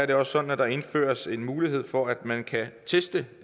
det også sådan at der indføres en mulighed for at man kan teste